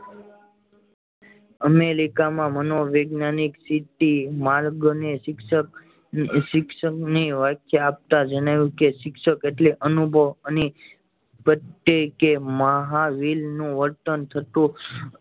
America માં મનોવૈજ્ઞાનિક સિટી માર્ગને શિક્ષક શિક્ષક ની વ્યાખ્યા આપતા જણાવ્યું કે શિક્ષક એટલે અનુભવ ની પ્રત્યેક મહાવીર નું વર્તન થતું